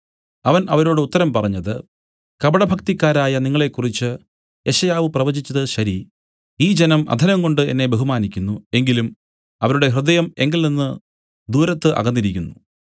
അവൻ അവരോട് ഉത്തരം പറഞ്ഞത് കപടഭക്തിക്കാരായ നിങ്ങളെക്കുറിച്ച് യെശയ്യാവു പ്രവചിച്ചതു ശരി ഈ ജനം അധരം കൊണ്ട് എന്നെ ബഹുമാനിക്കുന്നു എങ്കിലും അവരുടെ ഹൃദയം എങ്കൽനിന്ന് ദൂരത്ത് അകന്നിരിക്കുന്നു